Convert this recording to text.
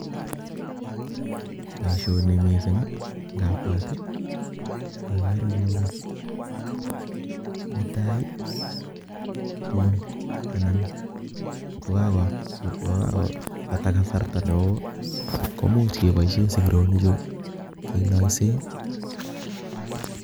Boishoni mising indabwat okere kouni, netai ko tuun anan yekakobata kasarta neoo komuch keboishen sikironichu keloisen.